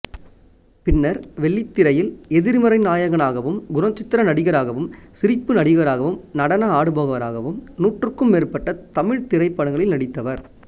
பின்னர் வெள்ளித்திரையில் எதிர்மறைநாயகனாகவும் குணசித்திர நடிகராகவும் சிரிப்பு நடிகராகவும் நடன ஆடுபவராகவும் நூற்றுக்கும் மேற்பட்ட தமிழ்த்திரைப்படங்களில் நடித்தவர்